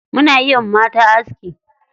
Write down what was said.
Muna iya wa mata aski.